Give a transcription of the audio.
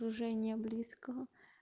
уже не близко